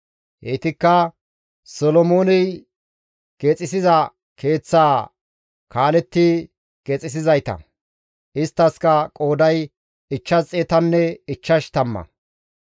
Heytikka Solomooney keexisiza keeththaa kaaletti keexisizayta; isttaskka qooday ichchash xeetanne ichchash tamma.